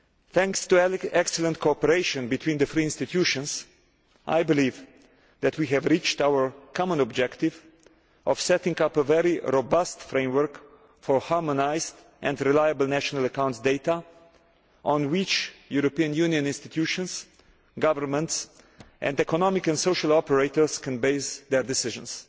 Thanks to an excellent cooperation between the three institutions, I believe that we have reached our common objective of setting up a very robust framework for harmonised and reliable national accounts data on which European Union institutions, governments and economic and social operators can base their decisions.